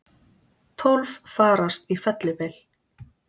Tólf farast í fellibyl